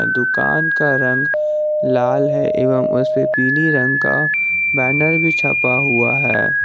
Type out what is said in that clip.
दुकान का रंग लाल है एवं उस पे पीली रंग का बैनर भी छपा हुआ है।